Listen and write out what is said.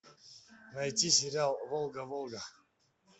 найти сериал волга волга